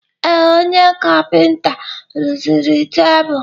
Ee, onye kapịnta rụziri tebụl.